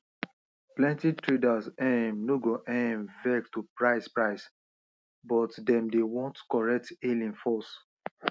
plenty traders um no go um vex to price price but dem dey want correct hailing first